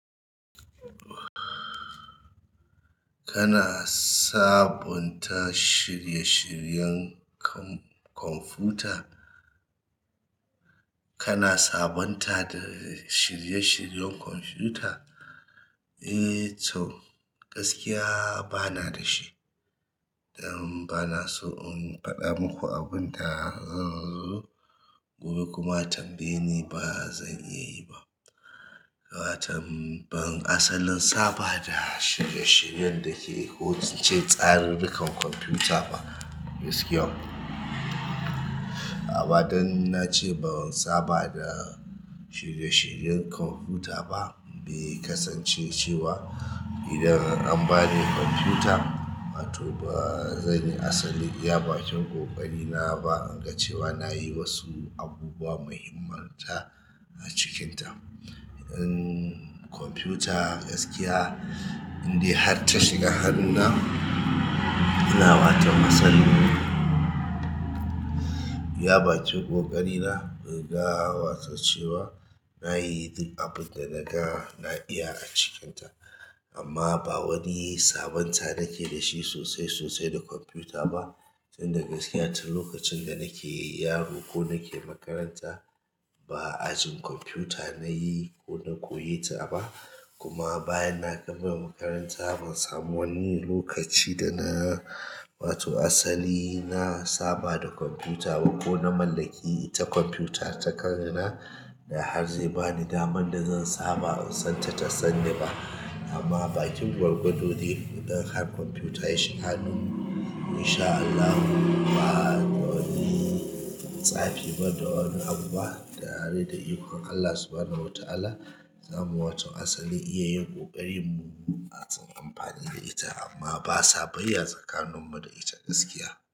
Kana sabonta shirye-shiryen kwamfuta? Kana sabonta shirye-shiryen kwamfuta? Eh to gaskiya bana da shi. Dan bana son in faɗa maku abunda zanzo gobe kuma a tambayeni ba zan iya yi ba ba'a tambaye-- asalin saba da shirye-shiryen da ke hoton ce tsarin dukan kwamfuta ba gaskiya. Amma da nace ban saba da shirye-shiryen kwamfuta ba, bai kasance cewa idan an bani kwamfuta, to ba zan yi asali iya bakin ƙoƙari na ba, in ga cewa na yi wasu abubuwa muhimmanta a cikinta. In kwamfuta gaskiya in dai har ta shiga hannuna, ina bata masalloli. Iya bakin ƙoƙari na in ga wato cewa na yi duk abinda naga na iya a cikinta. Amma ba wani sabonta nake da shi sosai sosai da kwamfuta ba. Tun da gaskiya tun lokacin da nake yaro ko nake makaranta ba ajin kwamfuta na yi ko na koyeta ba. Kuma bayan na gama makaranta ban samu wani lokaci da na, wato asali na saba da kwamfuta ba ko na mallaki ita kwamfuta ta kaina. Da har zai bani daman da zan saba in san ta ta sani ba. Amma bakin gwargwadodi idan har kwamfuta ya shiga hannu, insha Allahi ba wani tsafi ba da abubuwa ba da tare da ikon Allah subhanahu wa ta'ala, za mu waton asali iya yin ƙoƙarin mu matsin amfani da ita amma ba sabayya tsakanin mu da ita gaskiya.